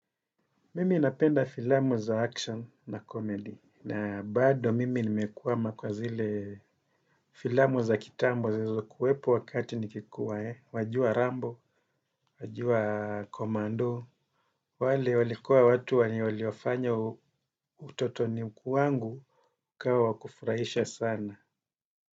Mimi napenda filamu za action na comedy, na bado mimi nimekuama kwa zile filamu za kitambo zilizokuwepo wakati nikikuwa, wajua rambo, wajua komando, wale walikuwa watu wenye waliofanya utotoni wangu ukawa wa kufurahisha sana.